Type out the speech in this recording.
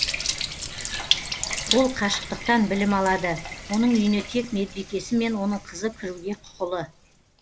ол қашықтықтан білім алады оның үйіне тек медбикесі мен оның қызы кіруге құқылы